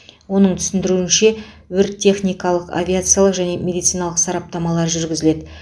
оның түсіндіруінше өрт техникалық авиациялық және медициналық сараптамалар жүргізіледі